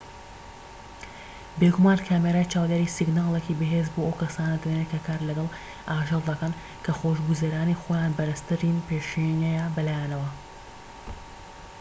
بێگومان کامیرای چاودێری سیگناڵێکی بەهێز بۆ ئەو کەسانە دەنێرێت کە کار لەگەڵ ئاژەڵ دەکەن کە خۆشگوزەرانی خۆیان بەرزترین پێشینەیە بەلایانەوە